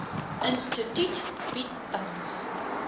instituut bied tans